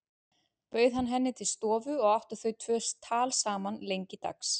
Bauð hann henni til stofu og áttu þau tvö tal saman lengi dags.